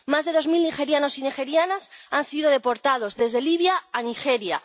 Más de dos mil nigerianos y nigerianas han sido deportados desde Libia a Nigeria.